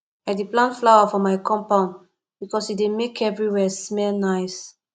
i dey plant flower for my compound because e dey make everywhere smell nice